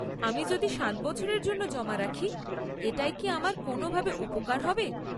আমি যদি সাত বছরের জন্য জমা রাখি, এটায় কি আমার কোনও ভাবে উপকার হবে?